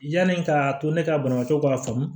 Yanni k'a to ne ka banabaatɔ ka faamu